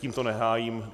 Tím to nehájím.